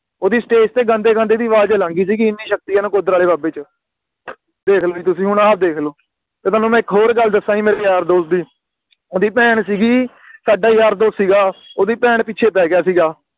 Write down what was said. ਓਹਦੀ Stage ਤੇ ਗਾਂਦੇ ਗਾਂਦੇ ਦੀ ਆਵਾਜ਼ ਅਲੱਗ ਹੀ ਸੀਗੀ ਇੰਨੀ ਸ਼ਕਤੀ ਆ ਨਕੋਦਰ ਆਲੇ ਬਾਬਾ ਜੀ ਚ ਦੇਖ ਲੋ ਜੀ ਤੁਸੀਂ ਹੁਣ ਆ ਦੇਖ ਲੋ ਤੇ ਤੁਹਾਨੂੰ ਮੈਂ ਇਕ ਹੋਰ ਗੱਲ ਦਸਾ ਜੀ ਮੇਰੇ ਯਾਰ ਦੋਸਤ ਦੀ ਓਹਦੀ ਭੈਣ ਸੀਗੀ ਸਾਡਾ ਯਾਰ ਦੋਸਤ ਸੀਗਾ ਓਹਦੀ ਭੈਣ ਪਿੱਛੇ ਪੈ ਗਿਆ ਸੀਗਾ